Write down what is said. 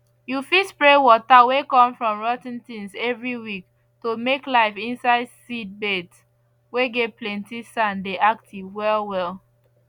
you fit spray water whey come from rot ten things every week to make life inside seed beds whey get plenty sand dey active well well